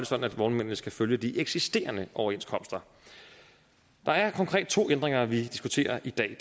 sådan at vognmændene skal følge de eksisterende overenskomster der er konkret to ændringer vi diskuterer i dag